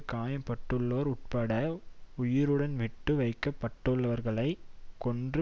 காயம்பட்டுள்ளோர் உட்பட உயிருடன் விட்டு வைக்க பட்டுள்ளவர்களைக் கொன்று